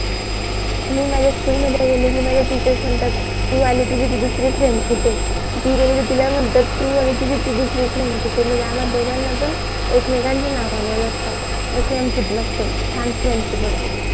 मी माझ्या SCHOOL मध्ये गेली कि माझ्या TEACHERS म्हणतात कि तू आली तुझी ती दुसरी FRIEND कुठे आहे? ती गेली कि तिला म्हणतात तू आली तुझी ती दुसरी FRIEND कुठे आहे? म्हणजे आम्हा दोघांना पण एकमेकांच्या नावानी ओळखतात असी आमची मस्त छान FRIENDSHIP होती